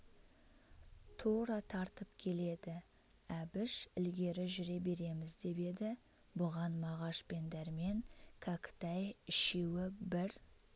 тура тартып келеді әбіш ілгері жүре береміз деп еді бұған мағаш пен дәрмен кәкітай үшеуі бір